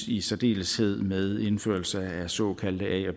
i særdeleshed øges med indførelsen af såkaldte a og